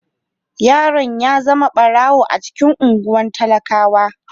Yaron ya zama barawo a cikin anguwan talakawa.